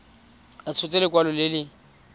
a tshotse lekwalo le le